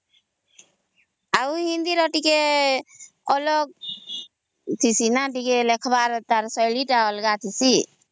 ଆଉ ହିନ୍ଦୀ ର ଟିକେ ଅଲଗା ଠିଁସି ତାର ଲେଖବା ର ଶୈଳୀ ଟିକେ ଅଲଗା ଠିଁସି